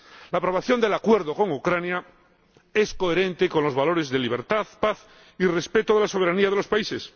La aprobación del Acuerdo con Ucrania es coherente con los valores de libertad, paz y respeto de la soberanía de los países.